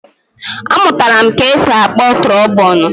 A mụtara ka-esi akpọ trobonu